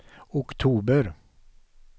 oktober